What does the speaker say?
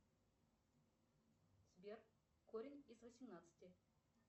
сбер корень из восемнадцати